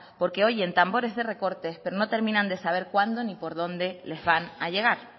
porque oyen tambores de recortes pero no terminan de saber cuándo ni por dónde les van a llegar